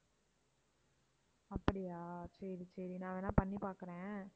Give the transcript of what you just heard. அப்படியா சரி சரி நான் வேணா பண்ணிபாக்குறேன்